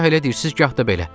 Gah elə deyirsiz, gah da belə.